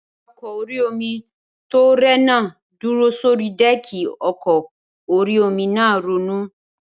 Awakọ̀ orí-omi tó rẹ̀ náà dúró sórí dẹ́ẹ̀kì ọkọ̀ orí-omi náà ronú